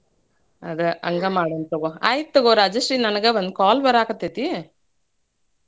ಅದ ಹಂಗ ಮಾಡುಣಂತ ತಗೋ, ಆಯ್ತ್ ತಗೋ ರಾಜಶ್ರೀ ನಂಗ್ ಒಂದ್ call ಬರಾಕತ್ತೈತಿ.